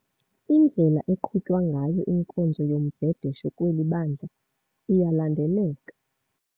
Indlela eqhutywa ngayo inkonzo yombhedesho kweli bandla, iyalandeleka.